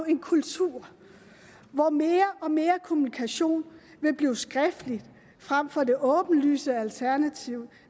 en kultur hvor mere og mere kommunikation vil blive skriftlig frem for det åbenlyse alternativ